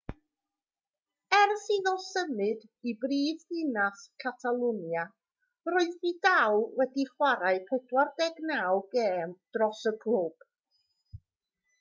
ers iddo symud i brifddinas catalwnia roedd vidal wedi chwarae 49 gêm dros y clwb